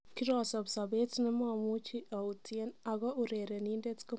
Kirosob sobet nemamuchi autien , ako urerenindet komakyinkee uinwek ."